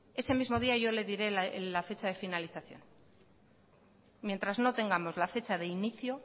ese mismo día yo le diré la fecha de finalización mientras no tengamos la fecha de inicio